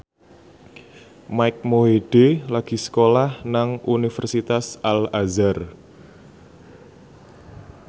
Mike Mohede lagi sekolah nang Universitas Al Azhar